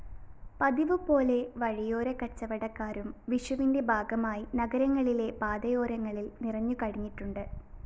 പതിവുപോലെ വഴിയോരക്കച്ചവടക്കാരും വിഷുവിന്റെ ഭാഗമായി നഗരങ്ങളിലെ പാതയോരങ്ങളില്‍ നിറഞ്ഞു കഴിഞ്ഞിട്ടുണ്ട്